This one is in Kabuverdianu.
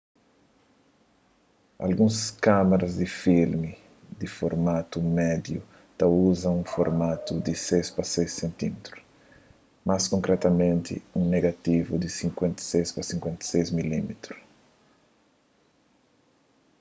alguns kámaras di filme di formatu médiu ta uza un formatu di 6 pa 6 cm más konkretamenti un negativu di 56 pa 56 mm